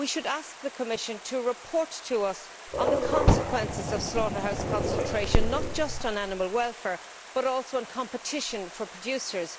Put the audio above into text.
We should ask the Commission to report to us on the consequences of slaughterhouse concentration not just on animal welfare but also on competition for producers.